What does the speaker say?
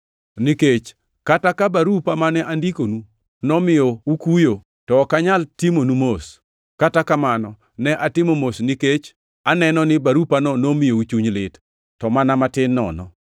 Nikech kata ka barupa mane andikonu nomiyo ukuyo, to ok anyal timonu mos. Kata kamano ne atimo mos, nikech aneno ni barupano nomiyou chuny lit, to mana matin nono.